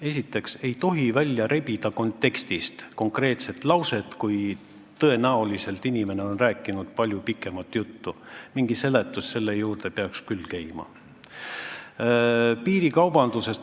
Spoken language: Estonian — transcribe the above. Esiteks ei tohi kontekstist konkreetset lauset välja rebida, kui inimene on tõenäoliselt palju pikemat juttu rääkinud, selle juurde peaks ikka mingi seletus käima.